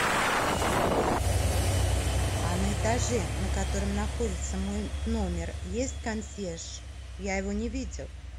а на этаже на котором находится мой номер есть консьерж я его не видела